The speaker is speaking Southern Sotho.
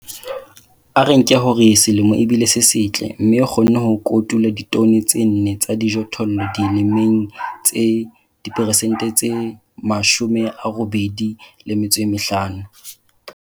A re nke hore selemo e bile se setle, mme o kgonne ho kotula ditone tse nne tsa dijothollo dimeleng tse diperesente tse 85.